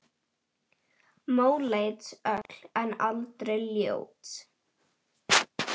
Móleit öll en aldrei ljót.